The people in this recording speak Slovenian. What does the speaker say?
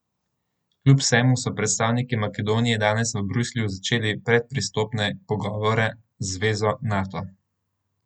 Kljub vsemu so predstavniki Makedonije danes v Bruslju začeli predpristopne pogovore z zvezo Nato.